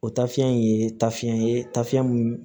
O tafiyɛn in ye tafiyɛn ye tafi min